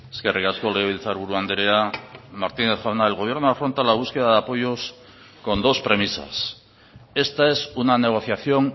eskerrik asko legebiltzarburu andrea martinez jauna el gobierno afronta la búsqueda de apoyos con dos premisas esta es una negociación